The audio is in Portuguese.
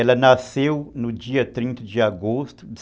Ela nasceu no dia trinta de agosto de